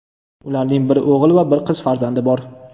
Ularning bir o‘g‘il va bir qiz farzandi bor.